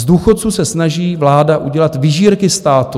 Z důchodců se snaží vláda udělat vyžírky státu.